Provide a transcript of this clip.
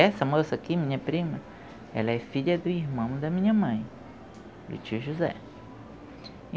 Essa moça aqui, minha prima, ela é filha do irmão da minha mãe, do tio José.